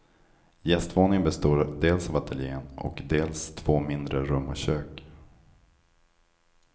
Gästvåningen består dels av ateljen och dels två mindre rum och kök.